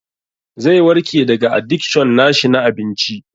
Zai warke daga adikshon na shi na abinci.